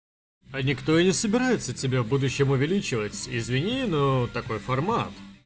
а никто и не собирается тебя в будущем увеличивать извини но такой формат